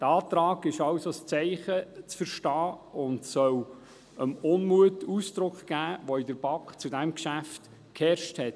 Dieser Antrag ist also als Zeichen zu verstehen und soll dem Unmut Ausdruck geben, der in der BaK zu diesem Geschäft geherrscht hat.